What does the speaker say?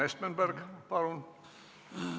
Urmas Espenberg, palun!